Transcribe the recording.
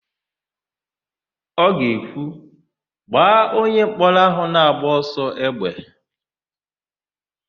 Ọ ga-ekwu, "gbaa onyemkpọrọ áhụ̀ na-agba ọsọ égbè"!